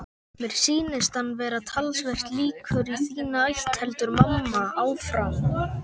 Mér sýnist hann vera talsvert líkur í þína ætt, heldur mamma áfram.